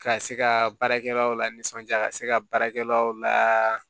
Ka se ka baarakɛlaw lasɔnja ka se ka baarakɛlaw la